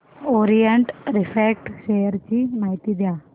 Orient refract share ची माहिती द्या